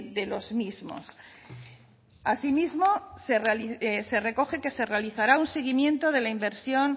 de los mismos asimismo se recoge que se realizará un seguimiento de la inversión